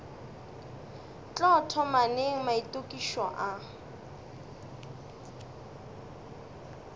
tlo thoma neng maitokišo a